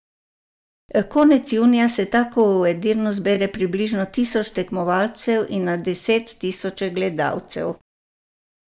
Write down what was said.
Konec junija se tako v Edirnu zbere približno tisoč tekmovalcev in na deset tisoče gledalcev.